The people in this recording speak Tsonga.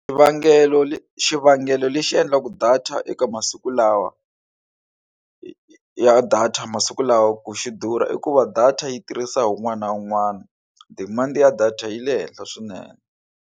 Xivangelo le xivangelo lexi endlaku data eka masiku lawa ya data masiku lawa ku xi durha i ku va data yi tirhisa hi wun'wana na wun'wana demand ya data yi le henhla swinene.